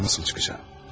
Ama nasıl çıkacağım?